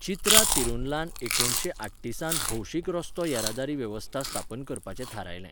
चित्रा तिरुनलान एकुणशे आठ्तीसांत भौशीक रस्तो येरादारी वेवस्था स्थापन करपाचें थारायलें.